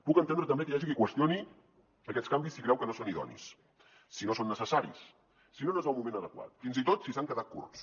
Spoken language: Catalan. puc entendre també que hi hagi qui qüestioni aquests canvis si creu que no són idonis si no són necessaris si no n’és el moment adequat fins i tot si han quedat curts